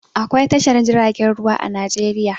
Akwai tashar jiragen ruwa a Najeriya.